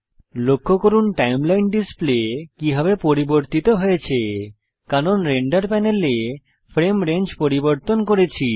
লক্ষ্য করুন timeline display কিভাবে পরিবর্তিত হয়েছে কারণ আমরা রেন্ডার প্যানেলে ফ্রেম রেঞ্জ পরিবর্তন করেছি